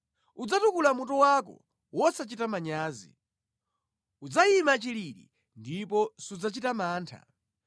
udzatukula mutu wako wosachita manyazi; udzayima chilili ndipo sudzachita mantha.